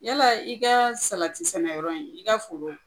Yala i ka salati sɛnɛyɔrɔ in i ka foro